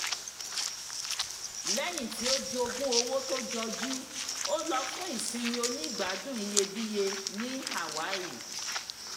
lẹ́yìn tí o jogún owó tó jọjú ó lọ fún ìsinmi onígbàádùn iyebíiye ní hawaii